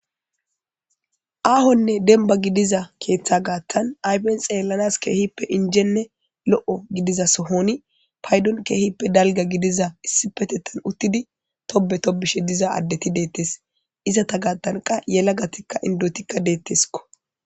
Aahonne denba gidiza keeththa gaattan aypen xeellanas keehippe injenne lo7o gidiza sohoni paydon keehippe dalga gidiza issipetettan uttidi tobe tobishe diza addeti deettes izata gaattanqa yela gatikka indotikka deetteskko